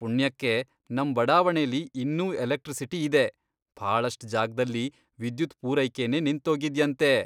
ಪುಣ್ಯಕ್ಕೆ ನಮ್ ಬಡಾವಣೆಲಿ ಇನ್ನೂ ಎಲೆಕ್ಟ್ರಿಸಿಟಿ ಇದೆ, ಭಾಳಷ್ಟ್ ಜಾಗ್ದಲ್ಲಿ ವಿದ್ಯುತ್ ಪೂರೈಕೆನೇ ನಿಂತೋಗಿದ್ಯಂತೆ.